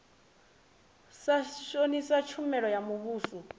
sa shonisa tshumelo ya muvhuso